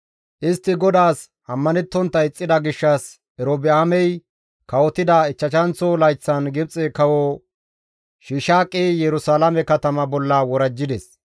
Istti GODAAS ammanettontta ixxida gishshas Erobi7aamey kawotida ichchashanththo layththan Gibxe Kawo Shiishaaqi Yerusalaame katama bolla worajjides.